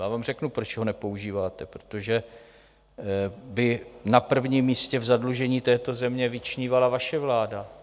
Já vám řeknu, proč ho nepoužíváte, protože by na prvním místě v zadlužení této země vyčnívala vaše vláda.